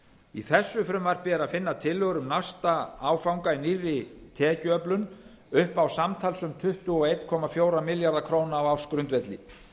í þessu frumvarpi er finna tillögur um næsta áfanga í nýrri tekjuöflun upp á samtals um tuttugu og einn komma fjóra milljarða króna á ársgrundvelli